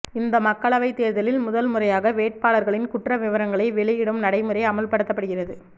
இந்த மக்களவைத் தேர்தலில் முதல் முறையாக வேட்பாளர்களின் குற்ற விவரங்களை வெளியிடும் நடைமுறை அமல்படுத்தப்படுகிறது